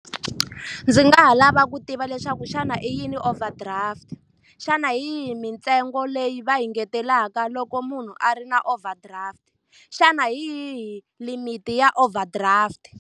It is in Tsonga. Ndzi nga ha lava ku tiva leswaku xana i yini overdraft? Xana hi yihi mintsengo leyi va yi engetelaka loko munhu a ri na overdraft? Xana hi yihi limit-i ya overdraft?